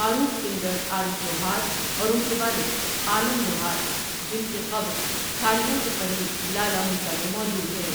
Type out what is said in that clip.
معروف سنگر عارف لوہار اور ان کے والد عالم لوہار، جن کی قبر کھاریاں کے قریب لالہ موسی میں موجود ہے ۔